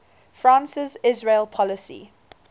france's israel policy